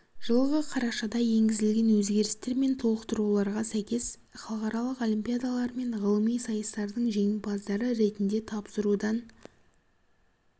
жылғы қарашада енгізілген өзгерістер мен толықтыруларға сәйкес халықаралық олимпиадалар мен ғылыми сайыстардың жеңімпаздары ретінде тапсырудан